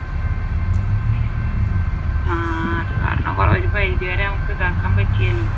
ആഹ് അതുകാരണം ഒരു പരിധി വരെ നമുക്ക് ഇതാക്കാൻ പറ്റിയല്ലോ